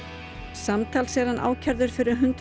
samtals er hann ákærður fyrir hundrað